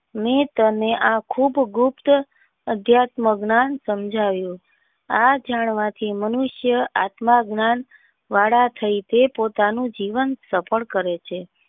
મેં તને આ ખુબ ગુપ્ત અધ્યાત્મક ના સમજાવ્યો આ જાણવા થી મનુષ્ય આત્મજ્ઞાન વાળા થઈ તે પોતાનું જીવન સફળ કરે છે.